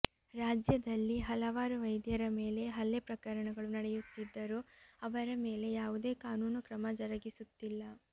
ರಾಜ್ಯದಲ್ಲಿ ಹಲವಾರು ವೈದ್ಯರ ಮೇಲೆ ಹಲ್ಲೆ ಪ್ರಕರಣಗಳು ನಡೆಯುತ್ತಿದ್ದರೂ ಅವರ ಮೇಲೆ ಯಾವುದೇ ಕಾನೂನು ಕ್ರಮ ಜರಗಿಸುತ್ತಿಲ್ಲ